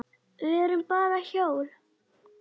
Við erum bara hjól.